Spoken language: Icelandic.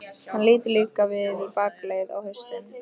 Hann lítur líka við í bakaleið, á haustin.